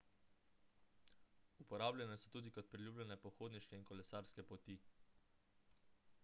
uporabljene so tudi kot priljubljene pohodniške in kolesarske poti